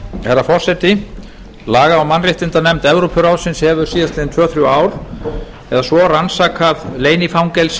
herra forseti laga og mannréttindanefnd evrópuráðsins hefur síðastliðin tvö til þrjú ár eða svo rannsakað leynifangelsi